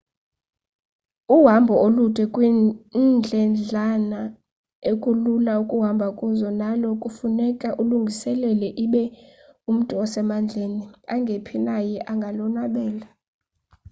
uhambo olude kwiindledlana ekulula ukuhamba kuzo nalo kufuneka ululungiselele ibe umntu osemandleni angephi naye angalonwabela